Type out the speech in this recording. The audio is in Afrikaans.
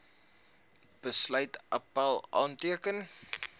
besluit appèl aanteken